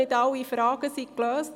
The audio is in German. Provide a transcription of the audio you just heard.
Nicht alle Fragen sind gelöst.